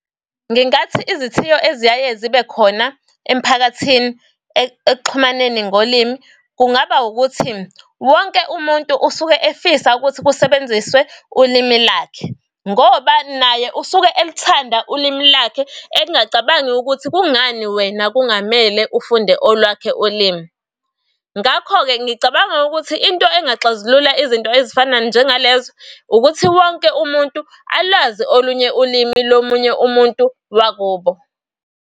Ngingathi izithiyo eziyaye zibe khona emiphakathini ekuxhumaneni ngolimi, kungaba ukuthi wonke umuntu usuke efisa ukuthi ukusebenziswe ulimi lakhe ngoba naye usuke elithanda ulimi lakhe engacabangi ukuthi kungani wena kungamele ufunde olwakhe ulimi. Ngakho-ke ngicabanga ukuthi into engaxazulula izinto ezifana njenga lezo ukuthi wonke umuntu alwazi olunye ulimi lomunye umuntu wakubo.